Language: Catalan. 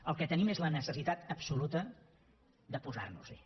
el que tenim és la necessitat absoluta de posar nos hi